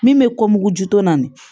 Min bɛ kɔmugu ju tɔ na